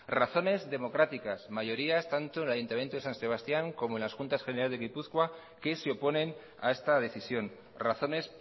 razones democráticas mayorías tanto en el ayuntamiento de san sebastián como en las juntas generales de gipuzkoa que se oponen a esta decisión razones